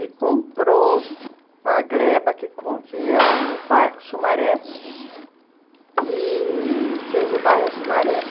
e comprou a gleba, que é o bairro Sumaré, i-i... fez o bairro Sumaré.